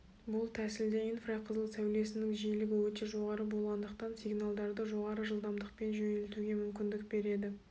бұл тәсілде инфрақызыл сәулесінің жиілігі өте жоғары болғандықтан сигналдарды жоғары жылдамдықпен жөнелтуге мүмкіндік береді